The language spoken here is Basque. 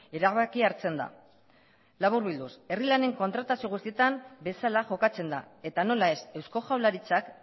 erabakia hartzen da laburbilduz herri lanen kontratazio guztietan bezala jokatzen da eta nola ez eusko jaurlaritzak